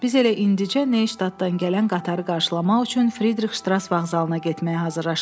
Biz elə indicə Neyştdadan gələn qatarı qarşılamaq üçün Fridrix Ştras vağzalına getməyə hazırlaşırdıq.